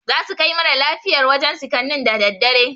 Zasu kai mara lafiyar wajen sikannin daa daddare